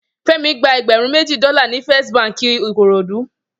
Femi gbà ègbèrún mèji dòlá ni Fèst bànkí Ikorodu